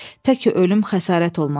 "Tək ki ölüm xəsarət olmasın."